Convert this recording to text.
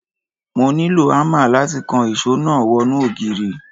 Mo nílò ámà láti kan ìṣó náà wọnú ògiri.